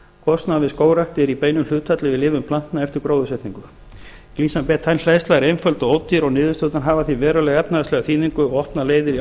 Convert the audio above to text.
kostnaður við skógrækt er í beinu hlutfalli við lifun plantna eftir gróðursetningu glycine betaine hleðsla er einföld og ódýr og niðurstöðurnar hafa því verulega efnahagslega þýðingu og opna leiðir í